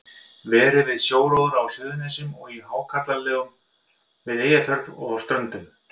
Verið við sjóróðra á Suðurnesjum og í hákarlalegum við Eyjafjörð og á Ströndum.